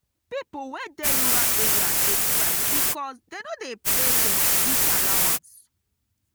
pipo wey dey rural areas dey strike because dey no dey pay dem bush allowance.